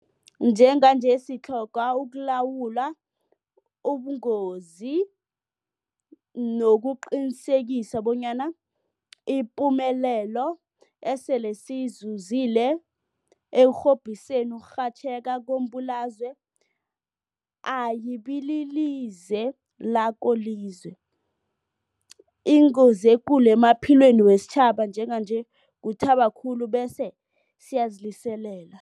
Njenganje sitlhoga ukulawula ubungozobu nokuqinisekisa bonyana ipumelelo esele siyizuzile ekurhobhiseni ukurhatjheka kombulalazwe ayibililize lakolize. Ingozi ekulu emaphilweni wesitjhaba njenganje kuthaba khulu bese siyaziliselela.